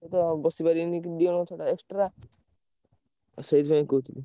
ଆଉ ତ ବସିପାରିବେନି ଦି ଜଣ ଛଡା extra ଆଉ ସେଇଥିପାଇଁ କହୁଥିଲି।